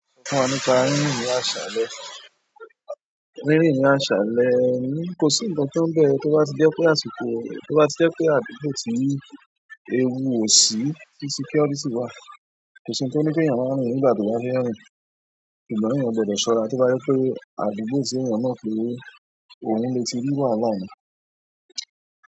Sọ fún wa nípa rírin ní àṣàlẹ̀, rírin ní àṣàlẹ̀ ni kò sí ǹkankan n bẹ tó bá ti jẹ́ pé àsìkò, tó bá ti jẹ́ pé àdúgbò ti ewu ò sí, tí security wà, kò sí ohun tó ní kèèyàn máa rìn nígbà tó bá fẹ́ rìn. Ìgbà mii eeyan gbọdọ̀ ṣọ́ra tí ó bá jẹ́ pé àdúgbò tí èèyàn mo pé ohun lè ti rí wàhalá ni.